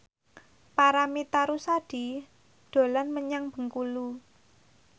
Paramitha Rusady dolan menyang Bengkulu